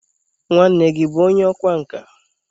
nwanne gi bu onye ọkwá nka?